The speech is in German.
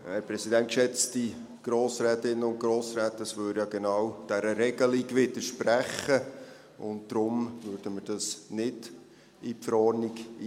Es widerspräche ja genau dieser Regelung, und deshalb würden wir das nicht in die Verordnung aufnehmen.